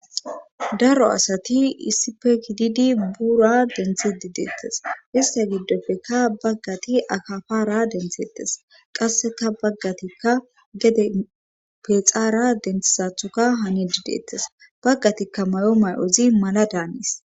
Daro asati issipe kididi buura denthi di deettes ista giddofeka baggati akafara denthettes qasseka baggatikka gede pexaara denthisathoka hani dideettes baggatikka may'o may'ozi mala daanis.